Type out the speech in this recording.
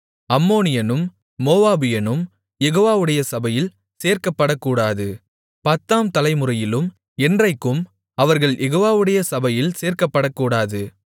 அம்மோனியனும் மோவாபியனும் யெகோவாவுடைய சபையில் சேர்க்கப்படக்கூடாது பத்தாம் தலைமுறையிலும் என்றைக்கும் அவர்கள் யெகோவாவுடைய சபையில் சேர்க்கப்படக்கூடாது